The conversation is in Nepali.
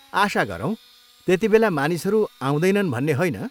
आशा गरौँ। त्यतिबेला मानिसहरू आउँदैनन् भन्ने होइन।